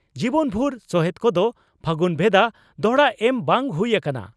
ᱡᱤᱵᱚᱱᱵᱷᱩᱨ ᱥᱚᱦᱮᱛ ᱠᱚᱫᱚ ᱯᱷᱟᱹᱜᱩᱱ ᱵᱷᱮᱫᱟ ᱫᱚᱦᱲᱟ ᱮᱢ ᱵᱟᱝ ᱦᱩᱭ ᱟᱠᱟᱱᱟ ᱾